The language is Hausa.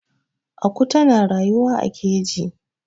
aku tana ruyuwa a keji